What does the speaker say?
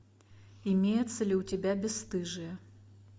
имеются ли у тебя бесстыжие